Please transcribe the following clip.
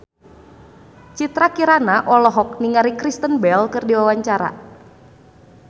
Citra Kirana olohok ningali Kristen Bell keur diwawancara